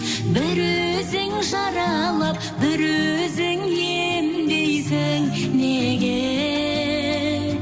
бір өзің жаралап бір өзің емдейсің неге